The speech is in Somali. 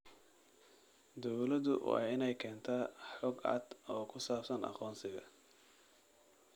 Dawladdu waa inay keentaa xog cad oo ku saabsan aqoonsiga.